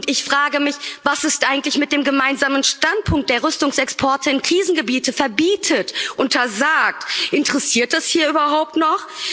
Und ich frage mich, was ist eigentlich mit dem gemeinsamen Standpunkt, der Rüstungsexporte in Krisengebiete verbietet, untersagt interessiert das hier überhaupt noch?